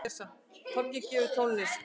Toggi gefur tónlist